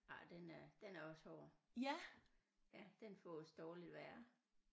Ej den er den er også hård ja den fås dårligt værre